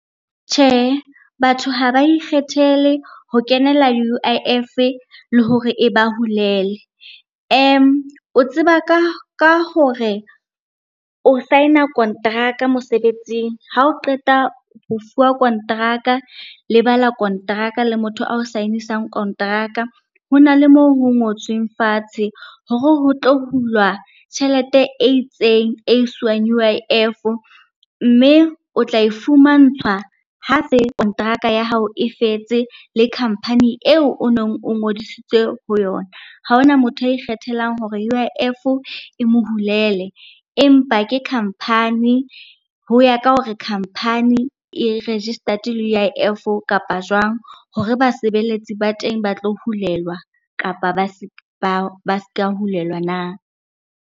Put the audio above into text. Tjhehe, batho ha ba ikgethele ho kenela U_I_F le hore e ba hulele. O tseba ka hore o sign-a kontraka mosebetsing, ha o qeta ho fuwa kontraka, le bala kontraka le motho a o sign-isang kontraka. Ho na le moo ho ngotsweng fatshe hore ho tlo hulwa tjhelete e itseng e iswang U_I_F, mme o tla e fumantshwa ha se kontraka ya hao e fetse le khampani eo o nong o ngodisitswe ho yona. Ha ho na motho a ikgethelang hore U_I_F e mo hulele, empa ke khampani, ho ya ka hore khampani e registered le U_I_F kapa jwang hore basebeletsi ba teng ba tlo hulelwa kapa ba ska hulelwa na.